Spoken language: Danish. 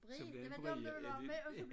Så bliver den bred ja det